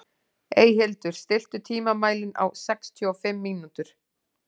Eyhildur, stilltu tímamælinn á sextíu og fimm mínútur.